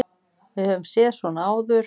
Við höfum séð svona áður.